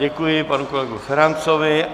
Děkuji panu kolegovi Ferancovi.